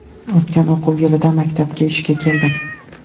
O‘tgan o‘quv yilida maktabga ishga keldim.